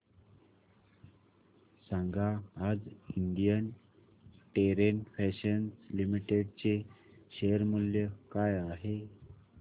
सांगा आज Indian Terrain Fashions Limited चे शेअर मूल्य काय आहे